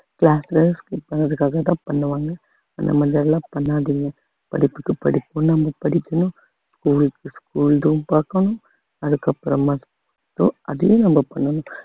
class ல skip பண்ணுறதுக்காகதான் பண்ணுவாங்க அந்த மாதிரி எல்லாம் பண்ணாதீங்க படிப்புக்கு படிப்பும் நம்ம படிக்கணும் school க்கு school தும் பார்க்கணும் அதுக்கப்புறமா அதையும் நம்ம பண்ணணும்